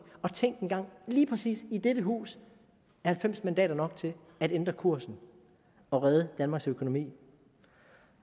og tænk engang lige præcis i dette hus er halvfems mandater nok til at ændre kursen og redde danmarks økonomi